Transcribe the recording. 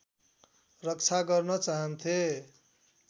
रक्षा गर्न चाहन्थे